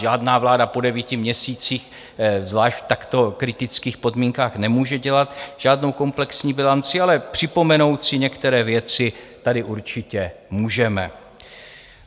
Žádná vláda po devíti měsících, zvlášť v takto kritických podmínkách, nemůže dělat žádnou komplexní bilanci, ale připomenout si některé věci tady určitě můžeme.